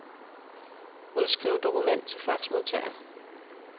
Udskriv dokument til faxmodtager.